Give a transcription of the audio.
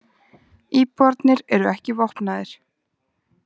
Íbúarnir eru ekki vopnaðir